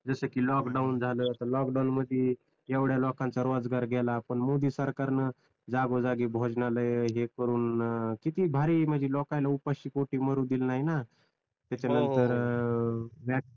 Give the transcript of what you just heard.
जस कि लोकडाउन झालं तर लोकडाउन मध्ये एवढ्या लोकांचा रोजगार गेला पण मोदी सरकार न जागोजागी भोजनालय हे करून किती भारी म्हणजे लोकांला उपाशी पोटी मरू दिल नाही ना